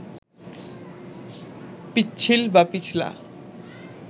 পিচ্ছিল বা পিছলা